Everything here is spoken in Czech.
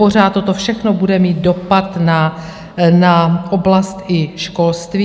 Pořád toto všechno bude mít dopad na oblast i školství.